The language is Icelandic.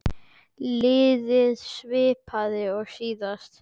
Liðið er svipað og síðast.